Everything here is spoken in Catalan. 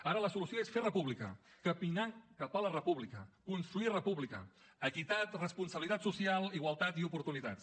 ara la solució és fer república caminar cap a la república construir república equitat responsabilitat social igualtat i oportunitats